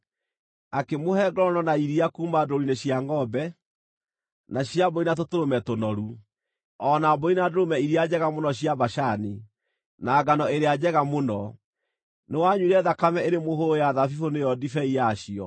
akĩmũhe ngorono na iria kuuma ndũũru-inĩ cia ngʼombe, na cia mbũri na tũtũrũme tũnoru. o na mbũri na ndũrũme iria njega mũno cia Bashani, na ngano ĩrĩa njega mũno. Nĩwanyuire thakame ĩrĩ mũhũyũ ya thabibũ, nĩyo ndibei yacio.